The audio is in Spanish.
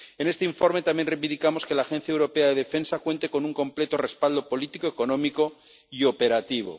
En este informe también reivindicamos que la Agencia Europea de Defensa cuente con un completo respaldo político, económico y operativo.